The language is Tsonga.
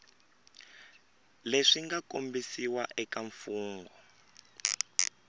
leswi nga kombisiwa eka mfugnho